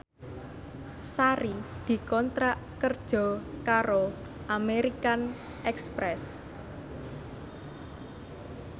Sari dikontrak kerja karo American Express